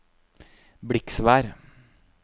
Bliksvær